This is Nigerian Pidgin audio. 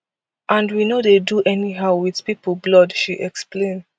and we no dey do anyhow wit pipo blood she explain